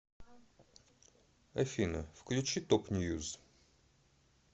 афина включи топ ньюз